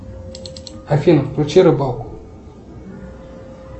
афина включи рыбалку